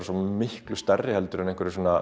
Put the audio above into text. svo miklu stærri en